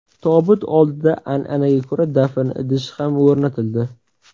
Tobut oldida an’anaga ko‘ra dafn idishi ham o‘rnatildi.